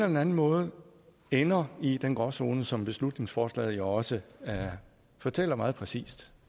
den anden måde ender i den gråzone som beslutningsforslaget jo også fortæller meget præcist